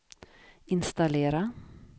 installera